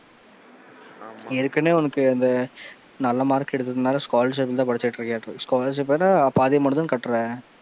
ஆமா ஏற்கனவே உனக்கு அந்த நல்ல மார்க் எடுத்ததால Scholarship ல தான் படிச்சுட்டு இருக்க scholarship போக பாதி amount தான கட்டுற,